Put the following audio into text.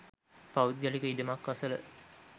පෞද්ගලික ඉඩමක් අසල